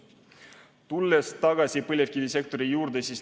Tulen tagasi põlevkivisektori juurde.